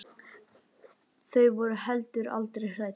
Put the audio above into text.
Þau voru heldur aldrei hrædd.